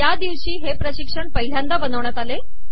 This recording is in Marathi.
या दिवशी हे प्रशिक्षण पहिल्यांदा बनविण्यात आले